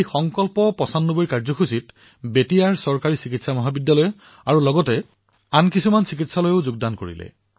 সংকল্প পচানব্বৈৰ এই পদক্ষেপত বেতিয়াৰ চৰকাৰী চিকিৎসা মহাবিদ্যালয় আৰু বহু চিকিৎসালয়েও অংশগ্ৰহণ কৰিলে